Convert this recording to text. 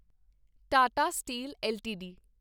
Tata steel LTD